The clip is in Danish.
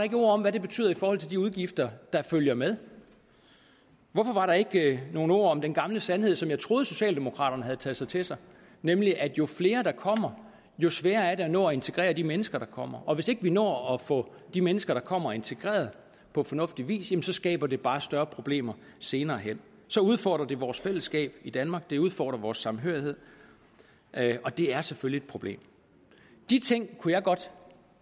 et ord om hvad det betyder i forhold til de udgifter der følger med hvorfor var der ikke nogen ord om den gamle sandhed som jeg troede socialdemokraterne har taget til sig nemlig at jo flere der kommer jo sværere er det at nå at integrere de mennesker der kommer og hvis ikke vi når at få de mennesker der kommer integreret på fornuftig vis så skaber det bare større problemer senere hen så udfordrer det vores fællesskab i danmark det udfordrer vores samhørighed og det er selvfølgelig et problem de ting kunne jeg godt